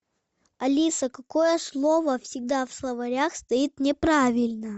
алиса какое слово всегда в словарях стоит неправильно